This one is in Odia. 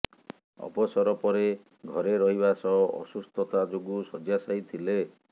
ଅବସର ପରେ ଘରେ ରହିବା ସହ ଅସୁସ୍ଥତା ଯୋଗୁଁ ଶଯ୍ୟାଶାୟୀ ଥିଲେ